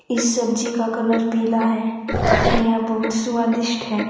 इस सब्जी का कलर पीला है यह बहुत स्वादिष्ट है।